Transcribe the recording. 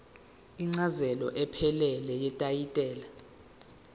incazelo ephelele yetayitela